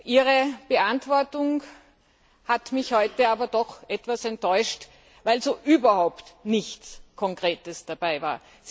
Ihre Antwort hat mich heute aber doch etwas enttäuscht, weil so überhaupt nichts Konkretes dabei war.